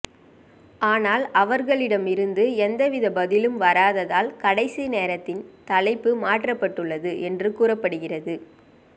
ஆனால் அவர்களிடம் இருந்து எந்தவித பதிலும் வராததால் கடைசி நேரத்தில் தலைப்பு மாற்றப்பட்டுள்ளது என்று கூறப்படுகிறது